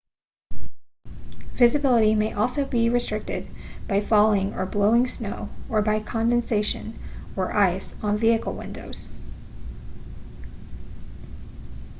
visibility may also be restricted by falling or blowing snow or by condensation or ice on vehicle windows